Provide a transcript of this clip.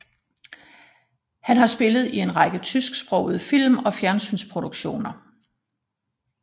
Han har spillet i en række tysksprogede film og fjernsynsproduktioner